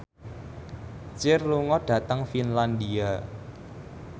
Cher lunga dhateng Finlandia